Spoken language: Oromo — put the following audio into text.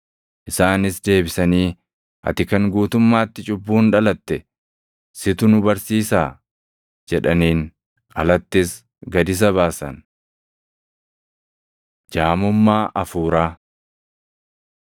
Isaanis deebisanii, “Ati kan guutummaatti cubbuun dhalatte, situ nu barsiisaa?” jedhaniin. Alattis gad isa baasan. Jaamummaa Hafuuraa